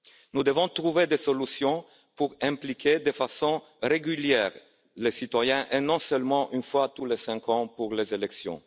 Nous devons trouver des solutions pour associer de façon régulière les citoyens et pas seulement une fois tous les cinq ans pour les élections.